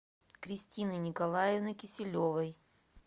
кристины николаевны киселевой